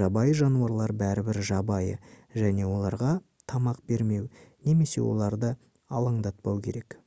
жабайы жануарлар бәрібір жабайы және оларға тамақ бермеу немесе оларды алаңдатпау керек